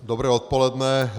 Dobré odpoledne.